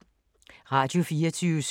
Radio24syv